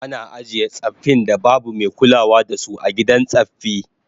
Ana ajiye tsaffin da babu mai kulawa da su a gidan tsaffi